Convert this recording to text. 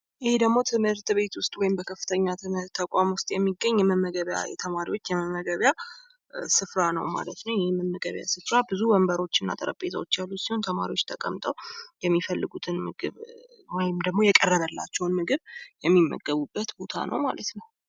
ይህ ደግሞ ትምህርት ቤት ወይም ከፍተኛ ትምህርት ተቋም ውስጥ የሚገኝ የተማሪዎች የመመገቢያ ስፍራ ነው ማለት ነው። ብዙ የመመገቢያ ወንበሮችና ጠረንጴዛዎች ተማሪዎች የሚፈልጉትን ወይም ደግሞ የቀረበላቸውን ምግብ የሚመገቡት ቦታ ነው ማለት ነው።